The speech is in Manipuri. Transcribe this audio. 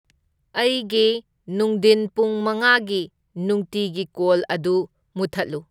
ꯑꯩꯒꯤ ꯅꯨꯡꯙꯤꯟ ꯄꯨꯡ ꯃꯉꯥꯒꯤ ꯅꯨꯡꯇꯤꯒꯤ ꯀꯣꯜ ꯑꯗꯨ ꯃꯨꯊꯠꯂꯨ